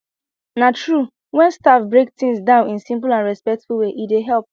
na truewhen staff break things down in simple and respectful way e dey help